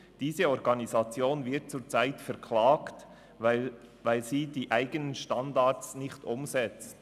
Diese Organisation wird zurzeit verklagt, weil sie ihre eigenen Standards nicht umsetzt.